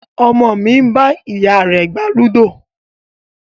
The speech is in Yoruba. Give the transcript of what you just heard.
Ọmọ mi ń bá ìyá rẹ gbá ludo